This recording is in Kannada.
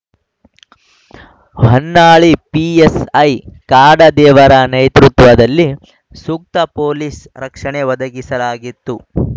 ಹೊನ್ನಾಳಿ ಪಿಎಸ್‌ಐ ಕಾಡದೇವರ ನೇತೃತ್ವದಲ್ಲಿ ಸೂಕ್ತ ಪೊಲೀಸ್‌ ರಕ್ಷಣೆ ಒದಗಿಸಲಾಗಿತ್ತು